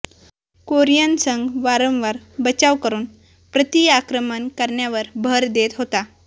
Korean संघ वारंवार बचाव करून प्रतिआक्रमण करण्यावर भर देत होता